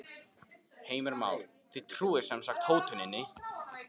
Heimir Már: Þið trúið sem sagt hótuninni?